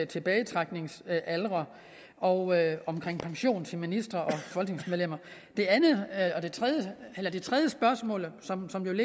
tilbagetrækningsaldre og om pension til ministre og folketingsmedlemmer det andet eller det tredje spørgsmål som som